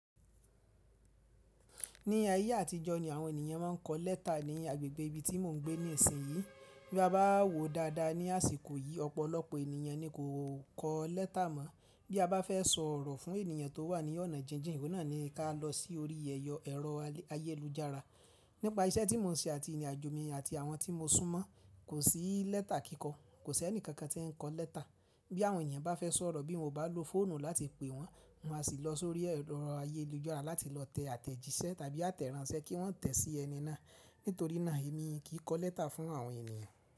Ní ayé àtijọ́ ni àwọn ènìyàn máa ń kọ lẹ́tà ní agbègbè ibi tí mò ń gbé ní ìsìn yìí. Bí a bá wò dáadáa ní àsìkò yìí, ọ̀pọ̀lọpọ̀ ènìyàn ni kò kọ lẹ́tà mọ́. Bí a bá fẹ́ sọ̀rọ̀ fún ènìyàn tó wà ní ọ̀nà jinjìn, ìwọ náà ni ká lọ sí orí ẹ̀rọ ayélujára. Nípa iṣẹ́ tí mò ń ṣe àti ìrìnàjò mi àti àwọn tí mo súnmọ́, kò sí lẹ́tà kíkọ. Kò sí ẹnìkankan tí ń kọ lẹ́tà. Bí àwọn ènìyàn bá fẹ́ sọ̀rọ̀ bí won o bá lo fóònù láti pe wọ́n, wọ́n á sì lọ sórí ẹ̀rọ ayélujára láti lọ tẹ àtẹ̀jíṣẹ́ tàbí àtẹ̀ránṣẹ́ kí wọ́n tẹ̀ sí ẹni náà. Nítorí náà èmi kì í kọ lẹ́tà fún àwọn ènìyàn.